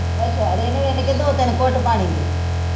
ਅੱਛਾ ਅੱਛਾ ਰਿੰਨ ਰਿੰਨ ਕੇ ਦੋ ਤਿੰਨ ਘੁੱਟ ਪਾਣੀ ਦੇ